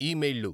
ఈమెయిళ్లు